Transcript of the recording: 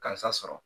Karisa sɔrɔ